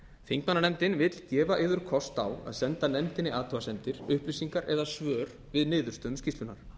þingmannanefndin vill gefa yður kost á að senda nefndinni athugasemdir upplýsingar eða svör við niðurstöðum skýrslunnar